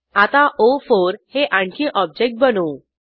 आता ओ4 हे आणखी ऑब्जेक्ट बनवू